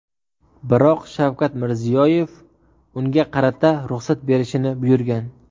Biroq Shavkat Mirziyoyev unga qarata ruxsat berishini buyurgan.